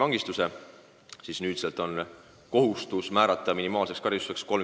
Enne määrasid kohtud selle eest karistuseks rahatrahve või tingimisi vangistuse.